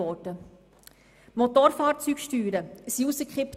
Die Motorfahrzeugsteuern wurden gekippt.